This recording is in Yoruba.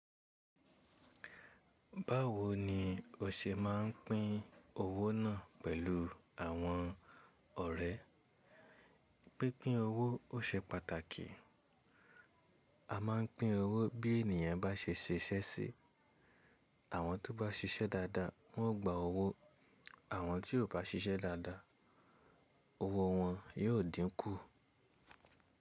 Báwo ni o ṣe máa ń pín owó náà pẹ̀lú àwọn ọ̀rẹ́? Pínpín owó ó ṣe pàtàkì. A máa ń pín owó bí ènìyàn bá ṣe ṣiṣẹ́ sí i. Àwọn tó bá ṣiṣẹ́ dáadáa, wọ́n ó gba owó. Àwọn tí kò bá ṣiṣẹ́ dáadáa, owó wọn yóò dínkù.